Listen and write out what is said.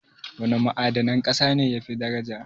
Wana ma'adanan ƙasa ne yafi daraja?